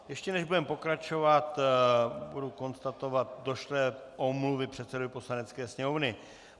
Ještě než budeme pokračovat, budu konstatovat došlé omluvy předsedovi Poslanecké sněmovny.